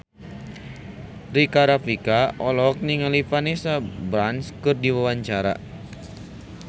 Rika Rafika olohok ningali Vanessa Branch keur diwawancara